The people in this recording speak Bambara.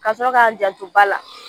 Kasɔrɔ k'a janto ba la